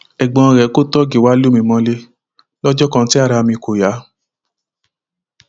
ẹgbọn rẹ kò tóógì wá lù mí mọlẹ lọjọ kan tí ara mi kò yá